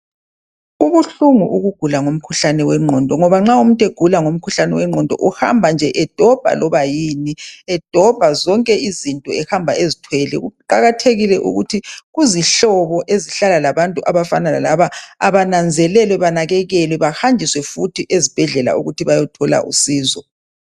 Kubuhlungu ukugula ngomkhuhlane wenqondo ngoba nxa umuntu egula ngomkhuhlane wenqondo uhamba nje edobha loba yini edobha zonke izinto ehamba ezithwele kuqakathekile ukuthi kuzihlobo ezihlala labantu abafana lalaba bananzelele banakekelwe behanjiswe futhi ezibhedlela ukuthi bayethola usizo.